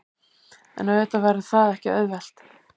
En auðvitað verður það ekki auðvelt